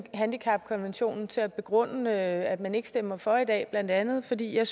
handicapkonventionen til at begrunde at man ikke stemmer for i dag blandt andet fordi jeg